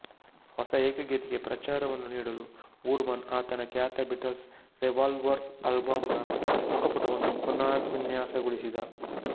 ಹೊಸ ಏಕಗೀತೆಗೆ ಪ್ರಚಾರವನ್ನು ನೀಡಲು ವೂರ್ ಮನ್ ಆತನ ಖ್ಯಾತ ಬೀಟಲ್ಸ್ ರೆವಾಲ್ವರ್ ಆಲ್ಬಂ ನ ಮುಖ ಪುಟವನ್ನು ಪುನರ್ವಿನ್ಯಾಸಗೊಳಿಸಿದ